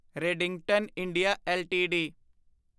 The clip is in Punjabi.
Redington India LTD